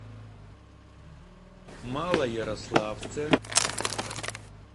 малоярославце